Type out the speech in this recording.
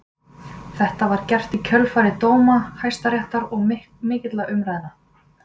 Þetta var gert í kjölfar dóma Hæstaréttar og mikilla umræðna.